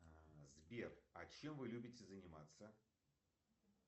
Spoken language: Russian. сбер а чем вы любите заниматься